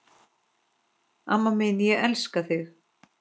Amma mín, ég elska þig.